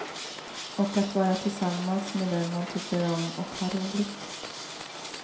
Och att vara tillsammans med dem man tycker om, och ha roligt.